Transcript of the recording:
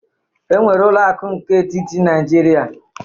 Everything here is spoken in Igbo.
Enwere ụlọ aku etiti nke Naijiria